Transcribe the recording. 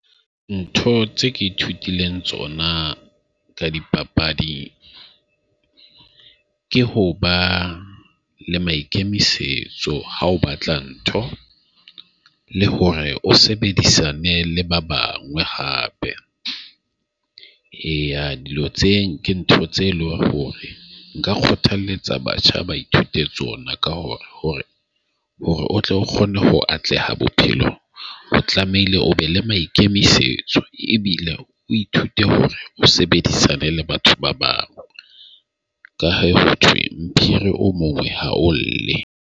Ntho tse ke ithutileng tsona ka dipapadi ke ho ba le maikemisetso ha o batla ntho le hore o sebedisane le ba bangwe hape. Eya dilo ke tse ntho tse leng hore nka kgothaletsa batjha ba ithute tsona ka hore hore hore o tlo kgone ho atleha bophelo o tlamehile o be le maikemisetso. Ebile o ithute hore o sebedisane le batho ba bang. Ka ho thwe Phiri o mongwe ha o lle .